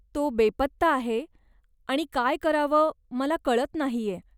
तो बेपत्ता आहे आणि काय करावं मला कळत नाहीय.